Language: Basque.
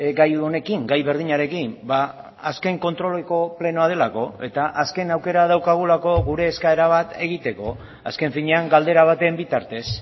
gai honekin gai berdinarekin azken kontroleko plenoa delako eta azken aukera daukagulako gure eskaera bat egiteko azken finean galdera baten bitartez